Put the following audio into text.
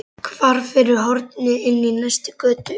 Hvarf fyrir horn inn í næstu götu.